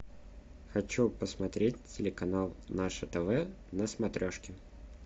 хочу посмотреть телеканал наше тв на смотрешке